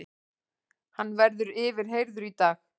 Hann verður yfirheyrður í dag